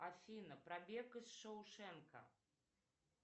афина пробег из шоушенка